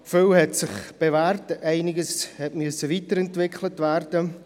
Vieles hat sich bewährt, einiges musste weiterentwickelt werden.